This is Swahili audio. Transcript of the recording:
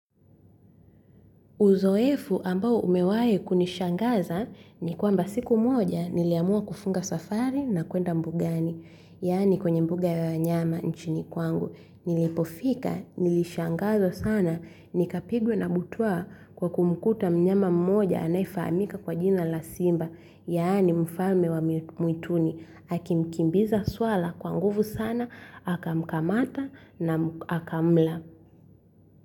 Uzoefu ambao umewahi kunishangaza ni kwamba siku moja niliamua kufunga safari na kuenda mbugani. Yaani kwenye mbuga ya wanyama nchini kwangu. Nilipofika, nilishangazwa sana, nikapigwa na butwa kwa kumkuta mnyama mmoja anayefahamika kwa jina la simba. Yaani mfame wa mwituni. Akimkimbiza swara kwa nguvu sana, akamkamata na akamla.